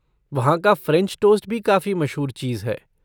वहाँ का French toast भी काफ़ी मशहूर चीज़ है।